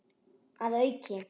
Að auki